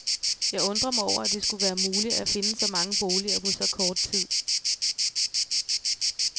Jeg undrer mig over, at det skulle være muligt at finde så mange boliger på så kort tid.